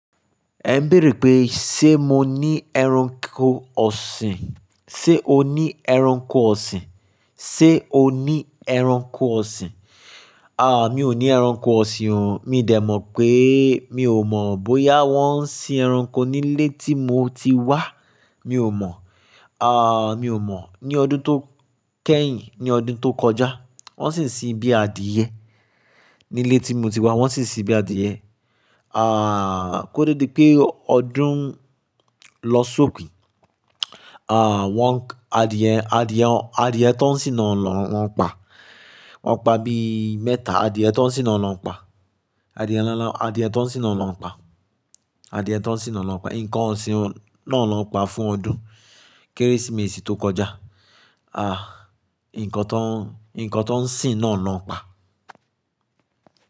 Ẹ ń bèèrè pé, ṣe mo ní ẹranko ọ̀sìn? Ṣé o ní ẹranko ọ̀sìn? Ṣé o ní ẹranko ọ̀sìn? À, mi ò ní ẹranko ọ̀sìn o. Mi dẹ̀ mọ̀ pé mi ò mọ̀ bóyá wọ́n ń sin ẹranko nílé tí mo ti wá. Mi ò mọ̀. À, mi ò mọ̀. Ní ọdún tó kẹ́yìn, ní ọdún tó kọjá, wọ́n sì ń sin bí àdíyẹ nílé tí mo ti wá. Wọ́n sì ń sin bí àdíyẹ. À, kó tó dé pé ọdún lọ sókè, à, wọ́n àdíyẹ, àdíyẹ, àdíyẹ tó ń sin náà ló ń pa. Wọ́n pa bí mẹ́ta. Àdíyẹ tó ń sin náà ló ń pa. Àdíyẹ náà, àdíyẹ tó ń sin náà ló ń pa. Àdíyẹ tó ń sin náà ló ń pa. Ǹkan ò sí. Nàá ló ń pa fún ọdún Kérésìmesì tó kọjá. À, ǹkan tó ń, ǹkan tó ń sin náà ló ń pa.